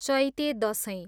Chaite Dashain